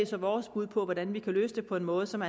så vores bud på hvordan vi kan løse det på en måde som